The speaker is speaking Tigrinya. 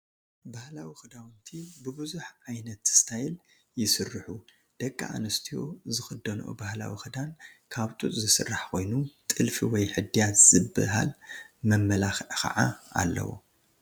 ባህላዊ ክዳውንቲ ብብዙሕ ዓይነት ስታይ ይስርሑ፡፡ ደቂ ኣንስቲያ ዝኽደንኦ ባህላዊ ክዳን ካብ ጡጥ ዝስራሕ ኮይኑ ጥልፊ ወይ ሕድያት ዝበሃል መመላክዓ ከዓ ኣለዎ፡፡